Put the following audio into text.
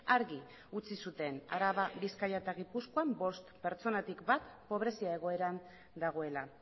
argi utzi zuten araba bizkaia eta gipuzkoan bost pertsonatik bat pobrezia egoeran dagoela